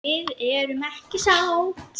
Við erum ekki sátt.